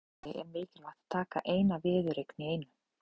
En í keppni sem þessari er mikilvægt að taka eina viðureign í einu.